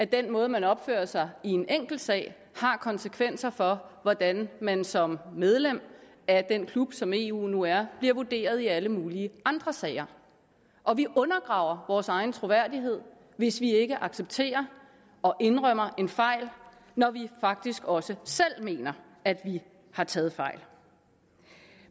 den måde man opfører sig i en enkelt sag har konsekvenser for hvordan man som medlem af den klub som eu nu er bliver vurderet i alle mulige andre sager og vi undergraver vores egen troværdighed hvis vi ikke accepterer og indrømmer en fejl når vi faktisk også selv mener at vi har taget fejl